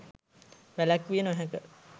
වැලැක්විය නොහැක.